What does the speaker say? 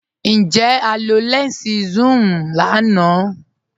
Njẹ́ à lọ lẹnsí sùn-un lànà?